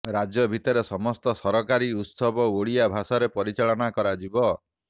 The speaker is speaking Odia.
ରାଜ୍ୟ ଭିତରେ ସମସ୍ତ ସରକାରୀ ଉତ୍ସବ ଓଡ଼ିଆ ଭାଷାରେ ପରିଚାଳନା କରାଯିବ